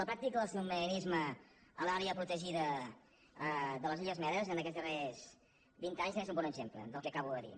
la pràctica del submarinisme a l’àrea protegida de les illes medes aquests darrers vint anys és un bon exem·ple del que acabo de dir